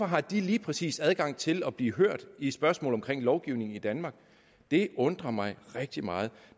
har de lige præcis adgang til at blive hørt i et spørgsmål om lovgivning i danmark det undrer mig rigtig meget